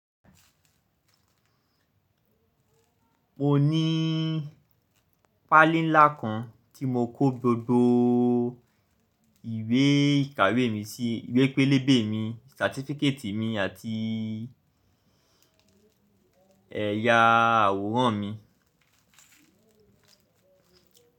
Mo ní fáìlì ńlá kan tí mo kó gbogbo ìwé ìkàwé mi sí, ìwé pélébé mi, certificate mi àti ẹ̀yà àwòrán mi.